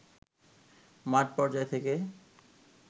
মাঠ পর্যায় থেকে